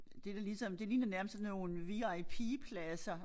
Det da ligesom det ligner nærmest sådan nogle VIP pladser